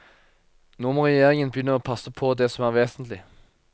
Nå må regjeringen begynne å passe på det som er vesentlig.